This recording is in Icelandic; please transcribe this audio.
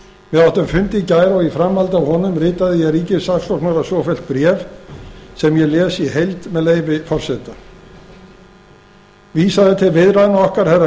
við áttum fund í gær og í framhaldi af honum ritaði ég ríkissaksóknara svofellt bréf sem ég les í heild með leyfi forseta vísað er til viðræðna okkar herra